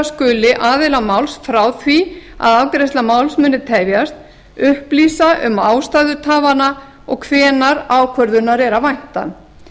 skuli aðila máls frá því að afgreiðsla máls muni tefjast upplýsa um ástæður tafanna og hvenær ákvörðunar sé að vænta